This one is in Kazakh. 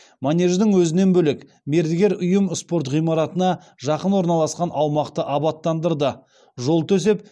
манеждің өзінен бөлек мердігер ұйым спорт ғимаратына жақын орналасқан аумақты абаттандырды жол төсеп